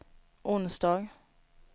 onsdag